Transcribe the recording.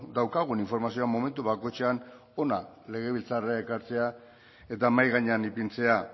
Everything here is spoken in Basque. daukagun informazioa momentu bakoitzean hona legebiltzarrera ekartzea eta mahai gainean ipintzea